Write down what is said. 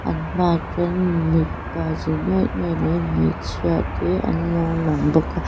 an hmaah chuan mipa zi nuai nuai leh hmeichhia te anlo lang bawk a.